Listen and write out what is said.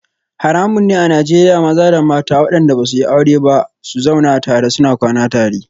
Haramun ne a Najeriya maza da mata wadanda ba su yi aure ba su zauna tare suna kwana tare